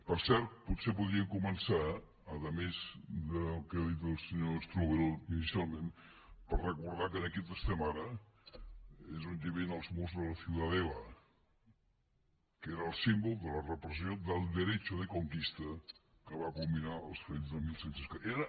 per cert potser podríem començar a més del que ha dit el senyor strubell inicialment per recordar que aquí on som ara és on hi havia els murs de la ciudadela que era el símbol de la repressió del derecho de conquista que va culminar els fets de disset deu quatre